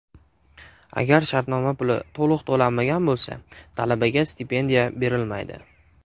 Agar shartnoma puli to‘liq to‘lanmagan bo‘lsa, talabaga stipendiya berilmaydi.